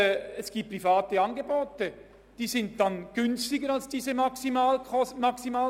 Private Angebote sind dann günstiger als diese Maximaltarife.